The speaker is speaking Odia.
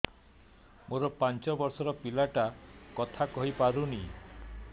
ମୋର ପାଞ୍ଚ ଵର୍ଷ ର ପିଲା ଟା କଥା କହି ପାରୁନି